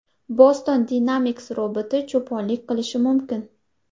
Boston Dynamics roboti cho‘ponlik qilishi mumkin.